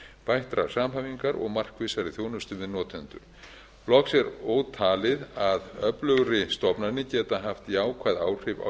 bættrar samhæfingar og markvissari þjónustu við notendur loks er ótalið að öflugri stofnanir geta haft jákvæð áhrif á